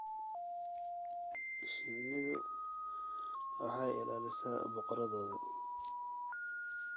Shinnidu waxay ilaalisaa boqoraddooda.